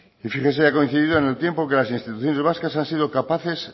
y fíjese que ha coincido en el tiempo que las instituciones vascas han sido capaces